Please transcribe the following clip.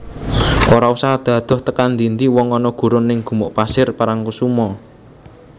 Ora usah adoh adoh tekan ndi ndi wong ono gurun ning Gumuk Pasir Parangkusumo